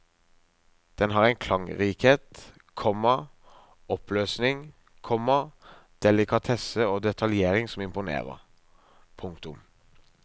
Den har en klangrikhet, komma oppløsning, komma delikatesse og detaljering som imponerer. punktum